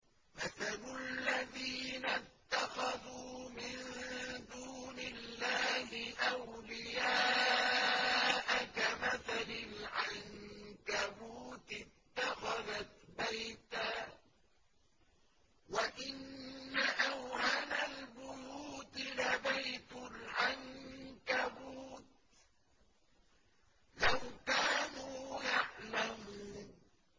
مَثَلُ الَّذِينَ اتَّخَذُوا مِن دُونِ اللَّهِ أَوْلِيَاءَ كَمَثَلِ الْعَنكَبُوتِ اتَّخَذَتْ بَيْتًا ۖ وَإِنَّ أَوْهَنَ الْبُيُوتِ لَبَيْتُ الْعَنكَبُوتِ ۖ لَوْ كَانُوا يَعْلَمُونَ